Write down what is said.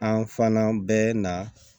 An fana bɛ na